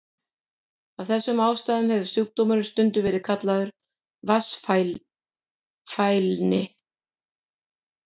Af þessum ástæðum hefur sjúkdómurinn stundum verið kallaður vatnsfælni.